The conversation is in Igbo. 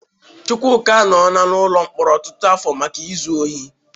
Chukwuka anọọla n'ụlọ mkpọrọ ọtụtụ afọ maka izu ohi.